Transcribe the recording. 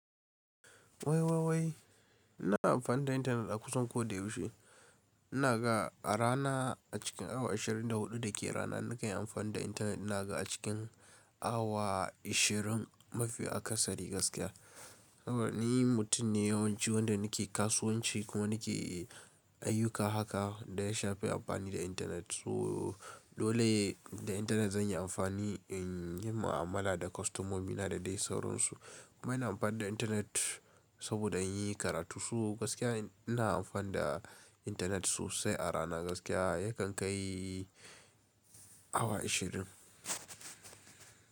Wai, wai, wai ina amfani da intanet a kusan ko da yaushe. Ina ga a rana a cikin awa ashirin da huɗu da ke rana nakan yi amfani da intanet. Ina ga a cikin awa ashirin mafi a Kasari gaskiya. Saboda ni mutum ne yawanci wanda nake kasuwanci kuma nake ayyuka haka da ya shafi amfani da intanet. So dole ne da intanet zan yi amfani in yi mu'amala da kostomomi. Ina da dai sauransu. Kuma ina amfani da intanet saboda in yi karatu. So gaskiya ina amfani da intanet sosai a rana. Gaskiya yakan kai awa ashirin.